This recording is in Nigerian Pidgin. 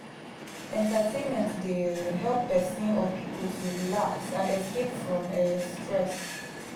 entertainment dey um help person or pipo to relax and escape from um stress